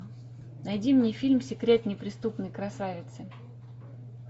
найди мне фильм секрет неприступной красавицы